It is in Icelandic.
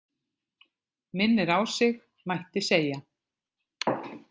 Minnir á sig, mætti segja.